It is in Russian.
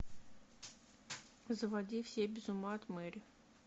заводи все без ума от мэри